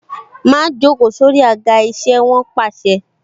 Má joko sórí àga isẹ! Wọn pàṣẹ.